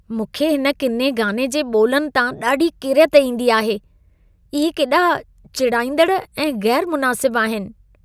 मूंखे हिन किने गाने जे ॿोलनि तां ॾाढी किरियत ईंदी आहे। इहे केॾा चिड़ाईंदड़ ऐं ग़ैरु मुनासिब आहिन।